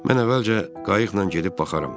Mən əvvəlcə qayıqla gedib baxaram.